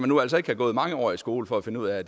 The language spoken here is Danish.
nu altså ikke have gået mange år i skole for at finde ud af